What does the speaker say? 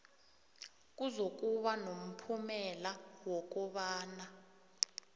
kuzokuba nomphumela wokobana